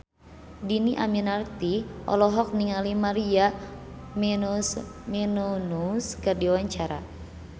Dhini Aminarti olohok ningali Maria Menounos keur diwawancara